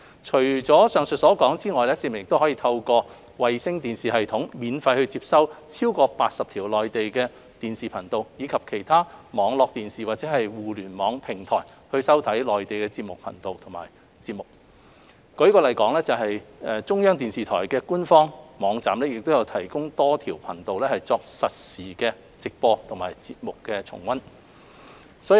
除上述之外，市民可透過衞星電視系統免費接收逾80條內地電視頻道，以及透過其他網絡電視或互聯網平台收看內地電視頻道和節目，舉例說，中央電視台官方網站亦有提供多條頻道作實時直播和節目重溫。